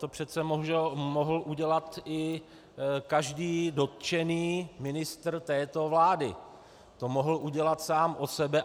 To přece mohl udělat i každý dotčený ministr této vlády, to mohl udělat sám od sebe.